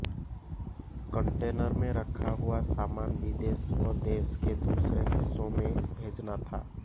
container में रखा हुआ सामान विदेश व देश के दूसरे हिस्सों में भेजना था